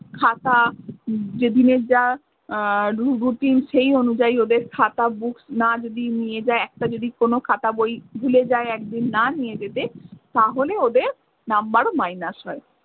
খাতা যেদিনের যা আহ রু~ routine সেই অনুযায়ী ওদের খাতা books না যদি নিয়ে যায় একটা যদি কোনো খাতা বই ভুলে যায় একদিন না নিয়ে যেতে, তাহলেও ওদের number minus হয়।